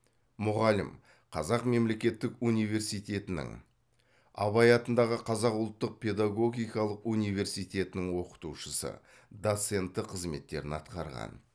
мұғалім қазақ мемлекеттік университетінің абай атындағы қазақ ұлттық педагогикалық университетінің оқытушысы доценті қызметтерін атқарған